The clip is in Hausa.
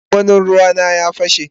gwangwani ruea na ya pashe.